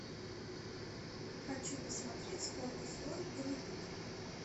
хочу посмотреть сколько стоит голливуд